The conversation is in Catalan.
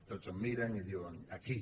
tots em miren i diuen aquí